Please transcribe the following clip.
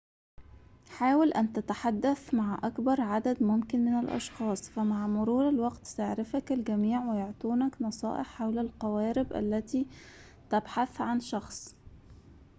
حاول أن تتحدث مع أكبر عدد ممكن من الأشخاص فمع مرور الوقت سيعرفك الجميع ويعطوك نصائح حول القوارب التي تبحث عن شخص